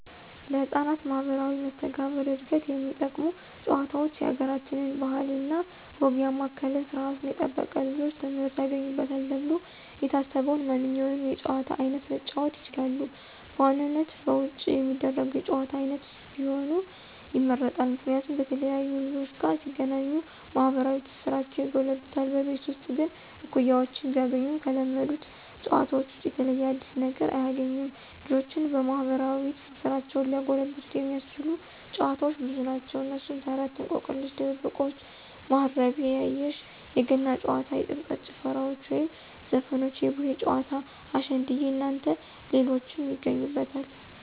ለህፃናት ማህበራዊ መስተጋብር ዕድገት የሚጠቅሙ ጭዋታውች የአገራችንን ባህል እና ወግ ያማከለ ስርዓቱን የጠበቀ ልጆች ትምህርት ያገኙበታል ተብሎ የታሰበውን ማንኛውንም የጨዋታ አይነት መጫወት ይችላሉ። በዋናነት በውጭ የሚደረጉ የጭዋታ አይነቶች ቢሆኑ ይመረጣል። ምክንያቱም በተለያዩ ልጆች ጋር ሲገናኙ ማህበራዊ ትስስራቸው ይጎለብታል። በቤት ውስጥ ግን እኩያወችን ቢያገኙም ከለመዱት ጨዋታዎች ውጭ የተለየ አዲስ ነገር አያግኙም። ልጆችን ማህበራዊ ትስስራቸውን ሊያጎለብት የሚያስችሉ ጨዋታዎች ብዙ ናቸው። እነሱም፦ ተረት፣ እንቆቅልሽ፣ ድብብቆሽ፣ ማሀረቤ ያየሽ፣ የገና ጨዋታ፣ የጥምቀት ጭፈራዎች ወይም ዘፈኖች፣ የቡሄ ጨዋታ፣ አሸንድየ እናንተ ሌሎችን ይገኙበታል።